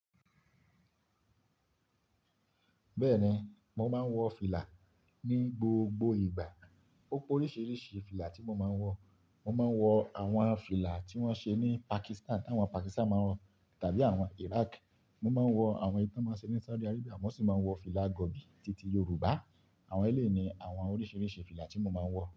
Bẹ́ẹ̀ ni, mò máa ń wọ fìlà ní gbogbo ìgbà. Ó p'oríṣìíríṣìí fìlà tí mo máa ń wọ. Mò máa ń wọ àwọn fìlà tí wọ́n ṣe ní Pakistan, àwọn Pakistan máa ń wọ, tàbí àwọn Iraq. Mò máa ń wọ àwọn eyi tàn máa ń ṣe ní Saudi Arabia, mo sì máa ń wọ fìlà gọ̀bì títí Yoruba. Àwọn ẹlẹ́yi àwọn oríṣìíríṣìí fìlà tí mo máa ń wọ.